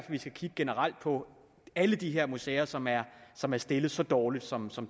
vi skal kigge generelt på alle de her museer som er som er stillet så dårligt som som